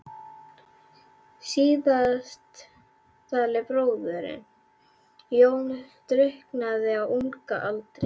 Síðasttaldi bróðirinn, Jón, drukknaði á unga aldri.